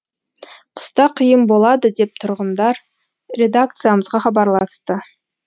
қыста қиын болады деп тұрғындар редакциямызға хабарласты